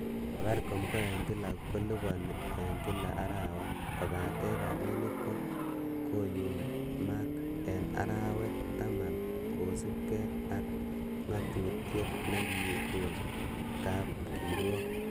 Safaricom ko en kila koliponi en kila arawa, kobaten rabinik ko koyumak en arawek taman kosiibge ak ng'atutiet nekikon kapkirwok.